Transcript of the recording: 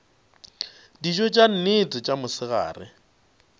dijo tša nnete tša mosegare